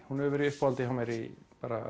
hún hefur verið í uppáhaldi hjá mér í